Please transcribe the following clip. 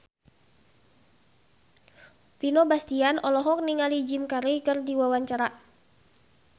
Vino Bastian olohok ningali Jim Carey keur diwawancara